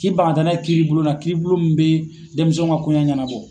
K'i ban ka taa n'a ye kiribulon na, kiribulon mun be denmisɛnw ka kɔɲɛ ɲɛnabɔ.